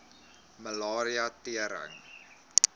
malaria tering